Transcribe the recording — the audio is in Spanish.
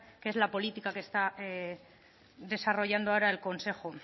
que es la política que está desarrollando ahora el consejo